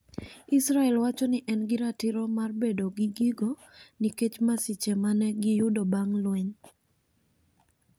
Israel wacho ni en gi ratiro mar bedo gi gigo nikech masiche ma ne giyudo bang ' lweny.